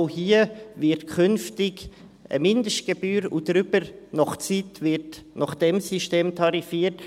Auch hier gibt es künftig eine Mindestgebühr, und darüber wird nach Zeit tarifiert.